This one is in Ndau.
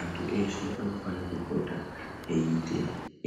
Antu eshe anofane kupota eiite